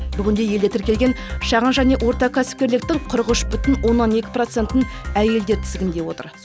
бүгінде елде тіркелген шағын және орта кәсіпкерліктің қырық үш бүтін оннан екі процентін әйелдер тізгіндеп отыр